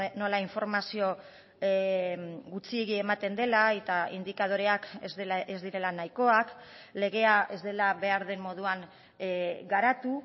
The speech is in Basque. nola informazio gutxiegi ematen dela eta indikadoreak ez direla nahikoak legea ez dela behar den moduan garatu